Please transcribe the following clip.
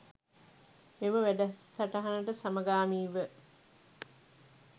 මෙම වැඩසටහනට සමගාමීව